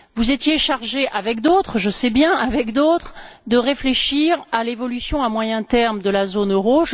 Vous étiez chargé, avec d'autres je sais bien, avec d'autres de réfléchir à l'évolution à moyen terme de la zone euro.